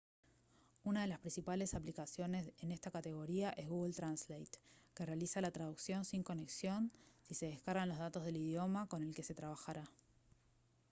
una de las principales aplicaciones en esta categoría es google translate que realiza la traducción sin conexión si se descargan los datos del idioma con el que se trabajará